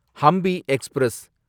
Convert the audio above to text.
Hampi express